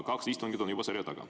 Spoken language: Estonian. Kaks istungit on juba seljataga.